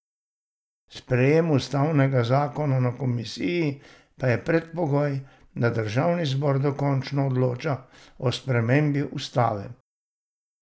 Sprejem ustavnega zakona na komisiji pa je predpogoj, da državni zbor dokončno odloča o spremembi ustave.